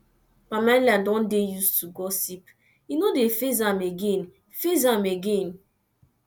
pamela don dey used to gossip e no dey faze am again faze am again